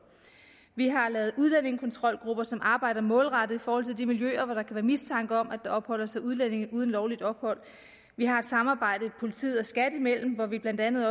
vi har lavet udlændingekontrolgrupper som arbejder målrettet i forhold til de miljøer hvor der være mistanke om at der opholder sig udlændinge uden lovligt ophold vi har et samarbejde politiet og skat imellem hvor vi blandt andet